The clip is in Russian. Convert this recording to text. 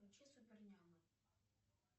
включи супер няма